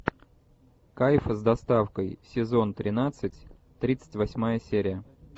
кайфы с доставкой сезон тринадцать тридцать восьмая серия